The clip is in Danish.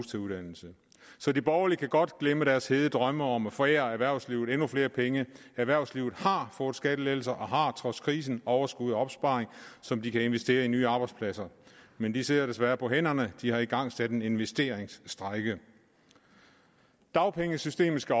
til uddannelse så de borgerlige kan godt glemme deres hede drømme om at forære erhvervslivet endnu flere penge erhvervslivet har fået skattelettelser og har trods krisen overskud og opsparing som de kan investere i nye arbejdspladser men de sidder desværre på hænderne de har igangsat en investeringsstrejke dagpengesystemet skal